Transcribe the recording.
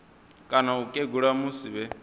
kana u kegula musi vhe